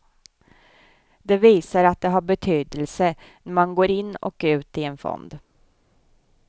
Det visar att det har betydelse när man går in och ut i en fond.